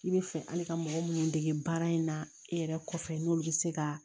I bɛ fɛ hali ka mɔgɔ minnu dege baara in na e yɛrɛ kɔfɛ n'olu bɛ se ka